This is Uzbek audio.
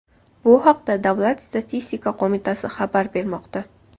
Bu haqda Davlat statistika qo‘mitasi xabar bermoqda.